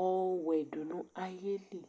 ɔwɛ du nu ayili